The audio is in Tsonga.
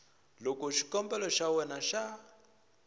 loko xikombelo xa wena xa